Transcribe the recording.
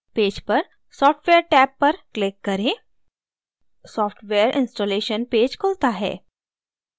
page पर software tab पर click करें software installation पेज खुलता है